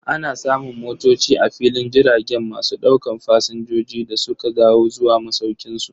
Ana samun motoci a filin jiragen masu daukan Fasinjoji da suka dawo zuwa masaukinsu.